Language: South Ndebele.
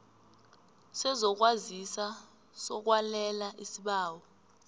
sezokwazisa sokwalela isibawo